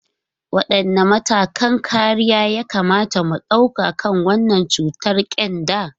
Wadanne matakan kariya ya kamata mu dauka kan wannan cutar kyanda?